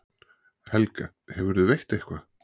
Helga: Hefurðu veitt eitthvað?